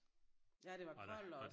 Ja det var koldt også